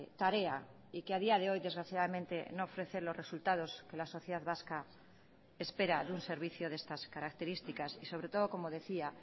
tarea y que a día de hoy desgraciadamente no ofrece los resultados que la sociedad vasca espera de un servicio de estas características y sobre todo como decía